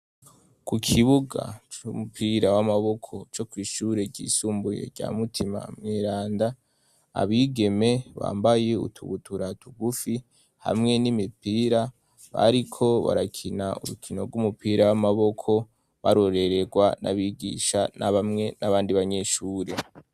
Ku kibuga c'umupira w'amaboko co kw'ishure ryisumbuye rya mutima mwiranda abigeme bambaye utubutura t ugufi hamwe n'imipira bariko barakina urukino rw'umupira w'amaboko barorererwa n'abigisha n'abamwe n'abandi banyeshuri.